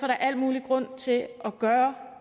der al mulig grund til at gøre